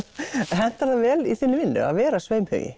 hentar það vel i þinni vinnu að vera